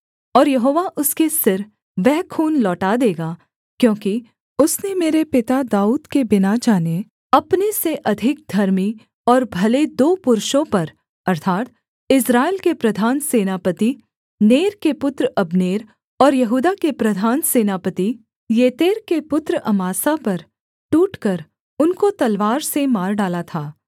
और यहोवा उसके सिर वह खून लौटा देगा क्योंकि उसने मेरे पिता दाऊद के बिना जाने अपने से अधिक धर्मी और भले दो पुरुषों पर अर्थात् इस्राएल के प्रधान सेनापति नेर के पुत्र अब्नेर और यहूदा के प्रधान सेनापति येतेर के पुत्र अमासा पर टूटकर उनको तलवार से मार डाला था